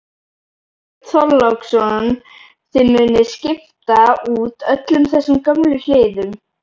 Björn Þorláksson: Þið munuð skipta út öllum þessum gömlu hliðum?